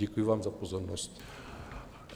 Děkuji vám za pozornost.